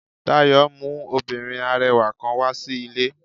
Dayo mu obinrin arẹwa kan wa si ile.